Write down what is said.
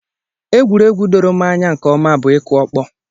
Egwuregwu doro m anya nke ọma bụ ịkụ ọkpọ